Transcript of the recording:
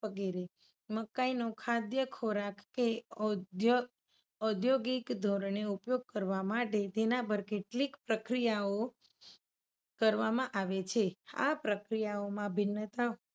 વગેરે. મકાઇનો ખાધ્ય ખોરાક કે ઔધૌગિક ધોરણે ઉપયોગ કરવા માતે તેના પર કેટલીક પ્રક્રિયાઓ કરવામાં આવે છે. આ પ્રક્રિયાઓમાં ભિન્નતા હોય